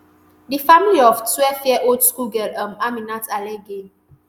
di family of twelveyearold school girl um aminat alege